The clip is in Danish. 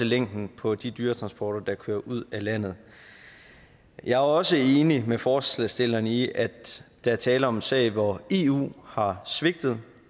længden på de dyretransporter der kører ud af landet jeg er også enig med forslagsstillerne i at der er tale om en sag hvor eu har svigtet